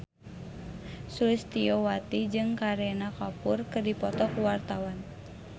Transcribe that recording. Sulistyowati jeung Kareena Kapoor keur dipoto ku wartawan